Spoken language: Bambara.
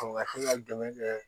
Ɔ ka to ka dɛmɛ kɛ